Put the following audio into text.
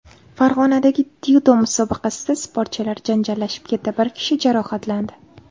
Farg‘onadagi dzyudo musobaqasida sportchilar janjallashib ketdi, bir kishi jarohatlandi.